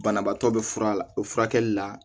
Banabaatɔ be fura a la o furakɛli la